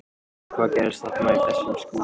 Andri: Hvað gerðist þarna í þessum skúr?